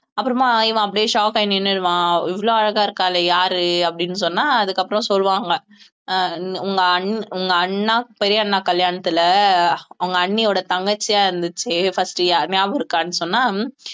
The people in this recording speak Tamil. அப்புறமா இவன் அப்படியே shock ஆகி நின்னுடுவான் இவ்வளவு அழகா இருக்காளே யாரு அப்படின்னு சொன்னா அதுக்கப்புறம் சொல்லுவாங்க அஹ் உங்க அண்~ உங்க அண்ணா பெரிய அண்ணா கல்யாணத்துல அவங்க அண்ணியோட தங்கச்சியா இருந்துச்சு first யா~ ஞாபகம் இருக்கான்னு சொன்னா